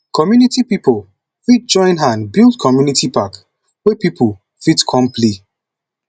community pipo fit join hand build community park wey pipo fit come play